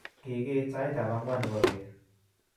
Kigiit sait tab angwan nebo beet